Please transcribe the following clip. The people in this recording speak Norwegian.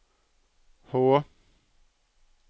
Hå